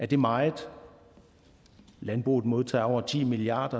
det meget landbruget modtager over ti milliard